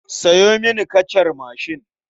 Sayo mini kacar mashin.